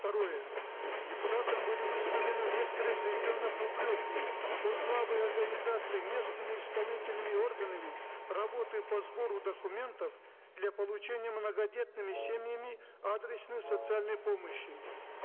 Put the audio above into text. второе депутатам были высказаны в некоторых регионах упреки по слабой организации местными исполнительными органами работы по сбору документов для получения многодетными семьями адресной социальной помощи